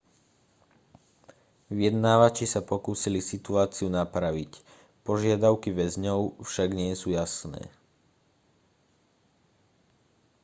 vyjednávači sa pokúsili situáciu napraviť požiadavky väzňov však nie sú jasné